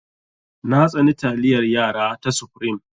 Na tsani taliyar yara ta supreme.